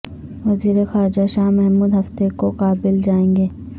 وزیر خارجہ شاہ محمود ہفتے کو کابل جائیں گے